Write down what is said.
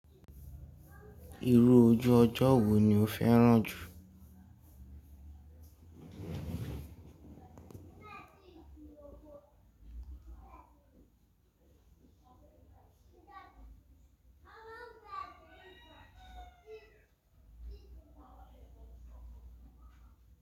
Irú ojú ọjọ́ wo ni o fẹ́ràn jù?